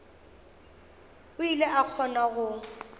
o ile a kgona go